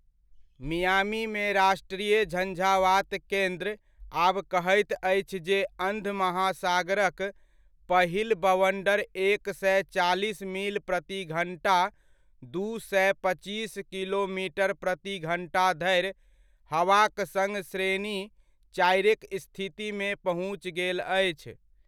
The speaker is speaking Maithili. मियामीमे राष्ट्रीय झंझावात केन्द्र आब कहैत अछि जे अंध महासागरक पहिल बवण्डर एक सए चालीस मील प्रतिघण्टा दू सए पच्चीस किलोमीटर प्रति घण्टा धरि हवाक सङ्ग श्रेणी चारिक स्थितिमे पहुँच गेल अछि।